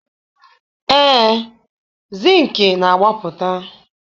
Ee, Zịnkị na-agbapụta